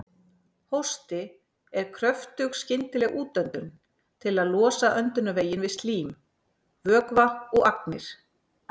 Hósti er kröftug skyndileg útöndun til að losa öndunarveginn við slím, vökva eða agnir.